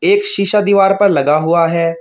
एक शिशा दीवार पर लगा हुआ है।